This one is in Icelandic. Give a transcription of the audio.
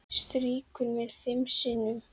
Strýkur mér fimm sinnum.